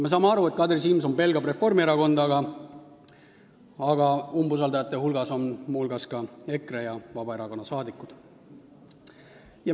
Me saame aru, et Kadri Simson pelgab Reformierakonda, aga umbusaldajate hulgas on ka EKRE ja Vabaerakonna liikmed.